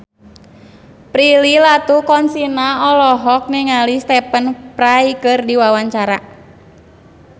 Prilly Latuconsina olohok ningali Stephen Fry keur diwawancara